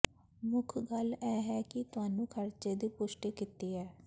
ਮੁੱਖ ਗੱਲ ਇਹ ਹੈ ਕਿ ਤੁਹਾਨੂੰ ਖਰਚੇ ਦੀ ਪੁਸ਼ਟੀ ਕੀਤੀ ਹੈ